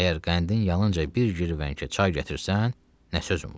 Əgər qəndin yalınca bir girvənkə çay gətirsən, nə sözüm var?